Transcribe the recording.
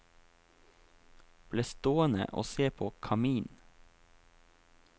Ble stående og se på kaminen.